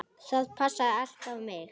Það passaði allt á mig.